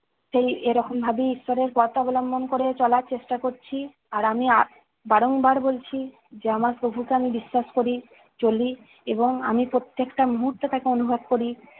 সেই এরকম ভাবেই ঈশ্বরের পথ অবলম্বন করে চলার চেষ্টা করছি, আর আমি বারংবার বলছি, যে আমার প্রভুকে আমি বিশ্বাস করি, চলি এবং আমি প্রত্যেকটা মুহূর্তে তাকে অনুভব করি।